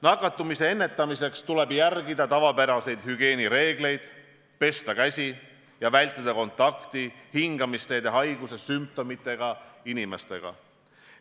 Nakatumise ärahoidmiseks tuleb järgida tavapäraseid hügieenireegleid, pesta käsi ja vältida kontakti hingamisteede haiguse sümptomitega inimestega.